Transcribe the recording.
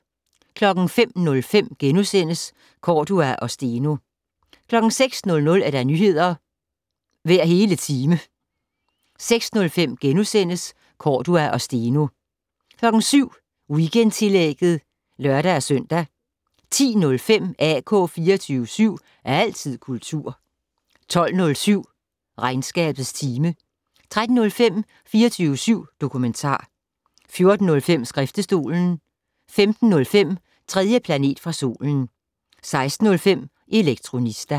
05:05: Cordua og Steno * 06:00: Nyheder hver hele time 06:05: Cordua og Steno * 07:05: Weekendtillægget (lør-søn) 10:05: AK 24syv. Altid kultur 12:07: Regnskabets time 13:05: 24syv dokumentar 14:05: Skriftestolen 15:05: 3. planet fra solen 16:05: Elektronista